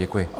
Děkuji.